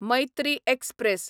Maitri express